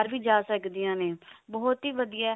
ਬਾਹਰ ਵੀ ਜਾ ਸਕਦੀਆਂ ਨੇ ਬਹੁਤ ਹੀ ਵਧੀਆ